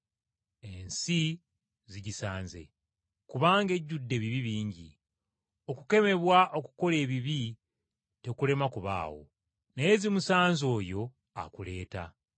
“Ensi zigisanze! Kubanga ejjudde ebibi bingi. Okukemebwa okukola ebibi tekulema kubaawo, naye zimusanze oyo akuleeta.